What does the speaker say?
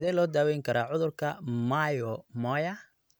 Sidee loo daweyn karaa cudurka Moyamoya?